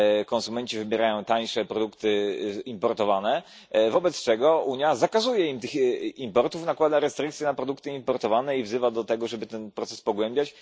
Konsumenci wybierają tańsze produkty importowane, wobec czego Unia zakazuje im importu, nakłada restrykcje na produkty importowane i wzywa do tego, żeby ten proces pogłębiać.